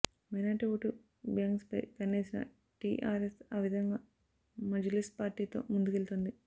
minority vote బ్యాంక్పై కన్నేసిన టీఆర్ఎస్ ఆ విధంగా మజ్లిస్ పార్టీతో ముందుకెళుతోంది